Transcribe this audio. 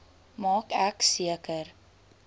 maak ek seker